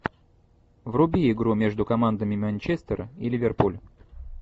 вруби игру между командами манчестер и ливерпуль